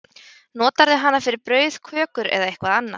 Notarðu hana fyrir brauð, kökur, eitthvað annað?